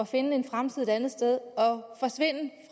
finde en fremtid et andet sted